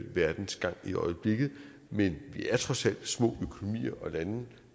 verdens gang i øjeblikket vi er trods alt små økonomier og lande